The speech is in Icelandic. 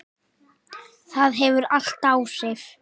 Það hefur allt áhrif.